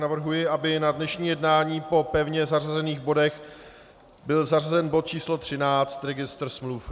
Navrhuji, aby na dnešní jednání po pevně zařazených bodech byl zařazen bod číslo 13, registr smluv.